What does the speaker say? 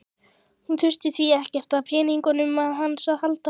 Hún þurfi því ekkert á peningunum hans að halda.